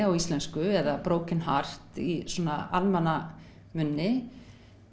á íslensku eða Broken heart í svona almanna munni